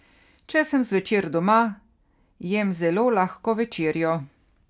Če sem zvečer doma, jem zelo lahko večerjo.